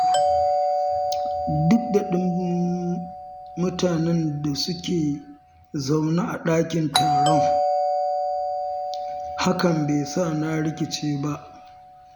Duk da ɗumbin mutanen da su ke zaune a ɗakin taron, hakan be sa na rikice ba.